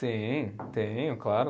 Sim, tenho, claro.